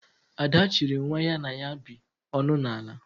Ada chiri nwa ya na ya bi ọṅụ na ala